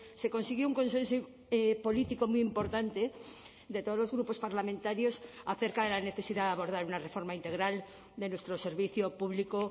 se consiguió un consenso político muy importante de todos los grupos parlamentarios acerca de la necesidad de abordar una reforma integral de nuestro servicio público